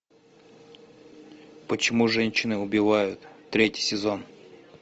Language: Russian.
почему женщины убивают третий сезон